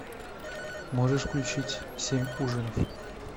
можешь включить семь ужинов